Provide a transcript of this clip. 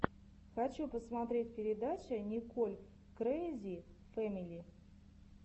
хочу посмотреть передача николь крэйзи фэмили